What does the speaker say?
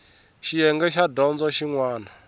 xiyenge xa dyondzo xin wana